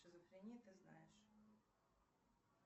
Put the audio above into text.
шизофрении ты знаешь